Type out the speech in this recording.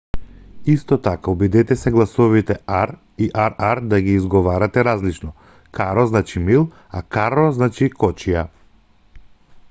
исто така обидете се гласовите r и rr да ги изговарате различно caro значи мил а carro значи кочија